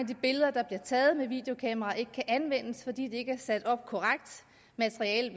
de billeder der bliver taget med videokameraer ikke kan anvendes fordi kameraerne ikke er sat op korrekt materiellet